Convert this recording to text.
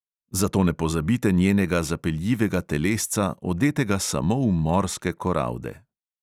Zato ne pozabite njenega zapeljivega telesca, odetega samo v morske koralde.